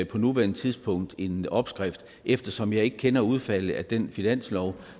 på nuværende tidspunkt en opskrift eftersom jeg ikke kender udfaldet af den finanslov